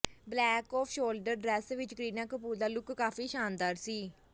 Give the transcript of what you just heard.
black off shoulder dress ਵਿੱਚ ਕਰੀਨਾ ਕਪੂਰ ਦਾ look ਕਾਫੀ ਸ਼ਾਨਦਾਰ ਸੀ